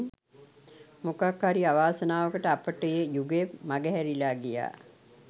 මොකක් හරි අවාසනාවකට අපට ඒ යුගය මගහැරිලා ගියා.